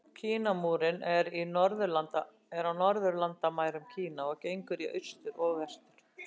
Kínamúrinn er á norðurlandamærum Kína og gengur í austur og vestur.